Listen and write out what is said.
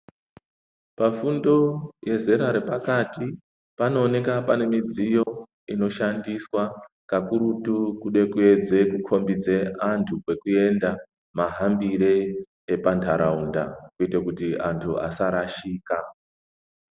Pafundo yezera repakati paanooneka pane midziyo inoshandiswa kakurutu kude kuedze kukhombidze antu kwekuenda mahambire epantarau da kuite kuti antu asarashika.